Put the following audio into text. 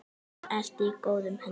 Þar ertu í góðum höndum.